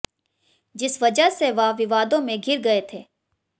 जिस वजह से वह विवादों में घिर गए थे